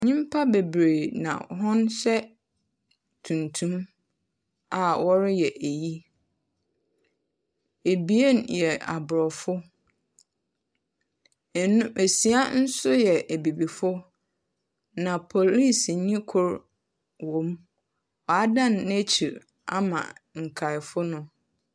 Nyimpa bebree na hɔn hyɛ tuntum a wɔreyɛ eyi. Ebien yɛ aborɔfo. Ɛna esia nso yɛ abibifo, na polisini kor wom. Wadan n'ekyir ama nkaefo no.